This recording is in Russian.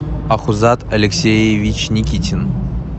ахузат алексеевич никитин